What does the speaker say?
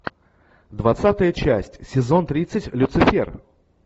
двадцатая часть сезон тридцать люцифер